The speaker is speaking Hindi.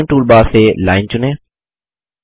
ड्राइंग टूलबार से लाइन चुनें